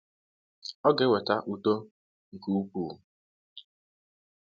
Ọ ga-eweta “udo nke ukwuu